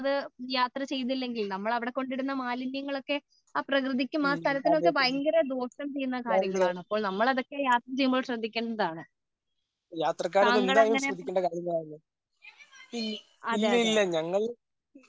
യാത്ര ചെയ്‌തില്ലെങ്കിൽ നമ്മൾ അവിടെ കൊണ്ട് ഇടുന്ന മാലിന്യങ്ങൾ ഒക്കെ ആ പ്രകൃതിക്കും ആ സ്ഥലത്തിനും ഒക്കെ ഭയങ്കര ദോഷം ചെയ്യുന്ന കാര്യങ്ങൾ ആണ് അപ്പോൾ നമ്മൾ അതൊക്കെ യാത്ര ചെയ്യുമ്പോൾ ശ്രദ്ധിക്കേണ്ടതാണ് തങ്ങൾ അങ്ങനെ ഒക്കെ അതേ അതേ